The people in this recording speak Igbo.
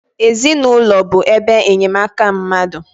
Ezinaụlọ bụ ebe enyemaka mmadụ